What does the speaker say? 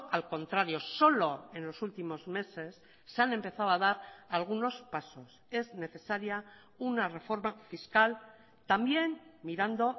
al contrario solo en los últimos meses se han empezado a dar algunos pasos es necesaria una reforma fiscal también mirando